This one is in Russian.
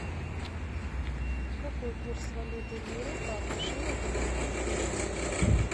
какой курс валюты лиры по отношению к американскому доллару